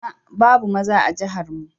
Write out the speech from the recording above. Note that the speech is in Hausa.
A'a! babu maza a jihar mu.